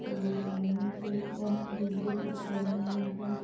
सभी लाइन से और विद्युत उपकरण भी है।